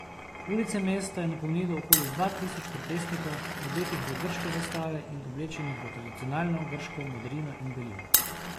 Ulice mesta je napolnilo okoli dva tisoč protestnikov, odetih v grške zastave in oblečenih v tradicionalno grško modrino in belino.